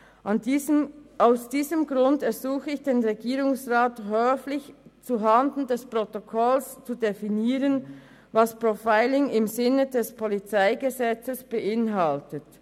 Aus diesem Grund ersuche ich den Regierungsrat höflich, zuhanden des Protokolls zu definieren, was Profiling im Sinne des Polizeigesetzes beinhaltet.